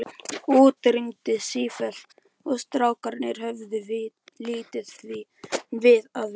Úti rigndi sífellt og strákarnir höfðu lítið við að vera.